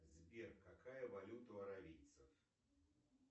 сбер какая валюта у аравийцев